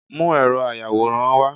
mú eró ayawóran wá